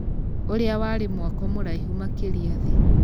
ũrĩa warĩmwako mũraihũ makĩria thĩ